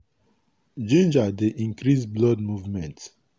ginger dey increase blood movement.